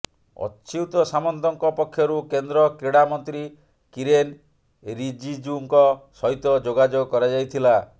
ଅଚ୍ୟୁତ ସାମନ୍ତଙ୍କ ପକ୍ଷରୁ କେନ୍ଦ୍ର କ୍ରୀଡ଼ାମନ୍ତ୍ରୀ କିରେନ୍ ରିଜିଜୁଙ୍କ ସହିତ ଯୋଗାଯୋଗ କରାଯାଇଥିଲା